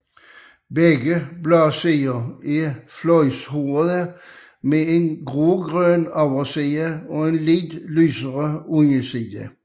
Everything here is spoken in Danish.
Begge bladsider er fløjlshårede med en grågrøn overside og en lidt lysere underside